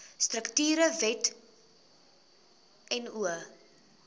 strukture wet no